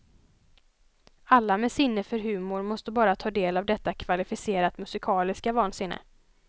Alla med sinne för humor måste bara ta del av detta kvalificerat musikaliska vansinne.